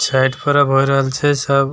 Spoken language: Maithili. छैएठ पर्व होय रहल छै सब --